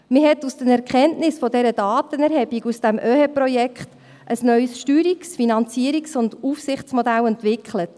Man hat aus der Erkenntnis der Datenerhebung aus dem OeHE-Projekt ein neues Steuerungs-, Finanzierungs- und Aufsichtsmodell entwickelt.